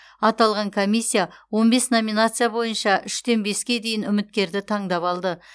аталған комиссия он бес номинация бойынша үштен беске дейін үміткерді таңдап алды